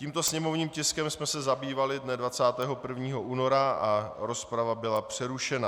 Tímto sněmovním tiskem jsme se zabývali dne 21. února a rozprava byla přerušena.